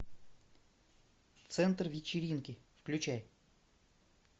центр вечеринки включай